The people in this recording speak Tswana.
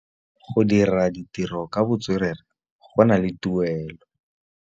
Go dira ditirô ka botswerere go na le tuelô.